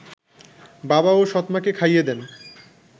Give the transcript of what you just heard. বাবা ও সৎমাকে খাইয়ে দেন